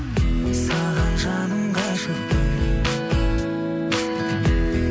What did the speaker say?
саған жаным ғашықпын